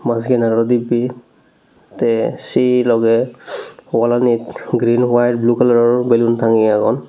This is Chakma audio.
ah siyen aro dibbe te se logey wallanit green white blue kalaror ballon tangeye agon.